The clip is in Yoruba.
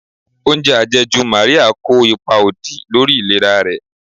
Oúnjẹ àjẹjù Maria kó ipa òdì lórí ìlera rẹ̀.